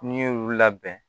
N'i y'olu labɛn